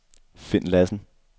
Finn Lassen